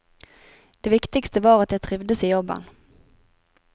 Det viktigste var at jeg trivdes i jobben.